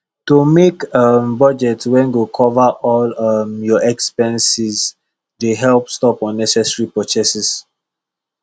to make um budget wey go cover all um your expenses dey help stop unnecessary purchases